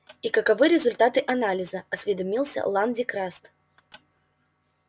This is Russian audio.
и каковы результаты анализа осведомился лан дин краст